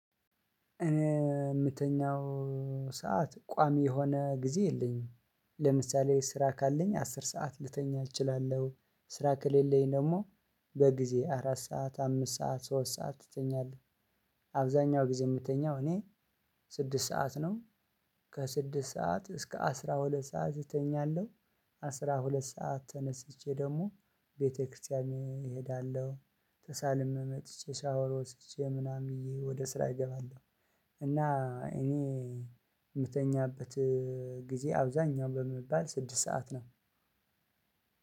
እኔ የምተኛው ሰዓት ቋሚ የሆነ ጊዜ የለኝም። ለምሳሌ ስራ ካለኝ አስር ሰዓት ልተኛ እችላለሁ ስራ ከሌለኝ ደግሞ በጊዜ አራት ሰዓት አምስት ሰዓት ሶስት ሰዓት እተኛለሁ። አብዛኛው ጊዜ የምተኛው እኔ ስድስት ሰዓት ነው። ከስድስት ሰዓት እስከ አስራ ሁለት ሰዓት እተኛለሁ። አስራ ሁለት ሰዓት ተነስቼ ደግሞ ቤተክርስቲያን እሄዳለሁ ተሳልሜ መጥቼ ሻወር ወስጄ ምናምን ወደ ስራ እገባለሁ። እኔ የምተኛበት ጊዜ አብዛኛው ቢባል ስድስት ሰዓት ነው።